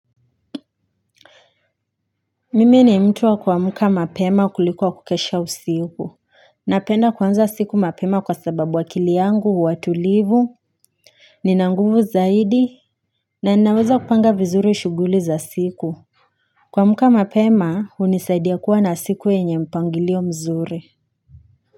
Mimi ni mtu wa kuamka mapema kuliko kukesha usiku. Napenda kuanza siku mapema kwa sababu akili yangu, huwa tulivu. Ninanguvu zaidi. Na ninaweza kupanga vizuri shuguli za siku. Kuamka mapema, hunisaidia kuwa na siku yenye mpangilio mzuri.